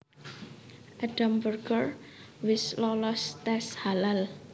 Edam Burger wis lolos tes halal